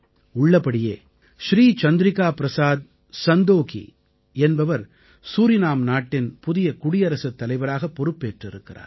உள்ளபடியே ஸ்ரீ சந்திரிகா ப்ரஸாத் சந்தோகீ என்பவர் சூரிநாம் நாட்டின் புதிய குடியரசுத் தலைவராகப் பொறுப்பேற்றிருக்கிறார்